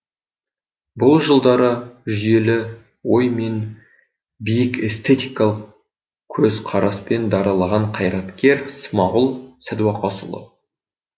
бұл жылдары жүйелі ой мен биік эстетикалық көзқараспен дараланған қайраткер смағұл сәдуақасұлы